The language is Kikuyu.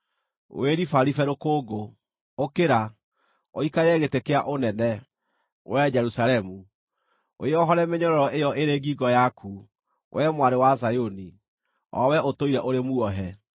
Wĩribaribe rũkũngũ; ũkĩra, ũikarĩre gĩtĩ kĩa ũnene, wee Jerusalemu. Wĩohore mĩnyororo ĩyo ĩrĩ ngingo yaku, wee mwarĩ wa Zayuni, o wee ũtũire ũrĩ muohe.